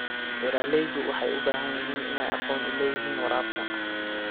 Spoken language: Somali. Beeraleydu waxay u baahan yihiin inay aqoon u leeyihiin waraabka.